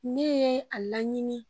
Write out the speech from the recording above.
Ne ye a laɲini